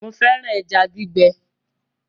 Mo fẹ́ràn ẹja gbígbẹ